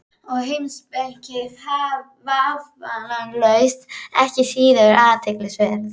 Og heimspekin vafalaust ekki síður athyglisverð.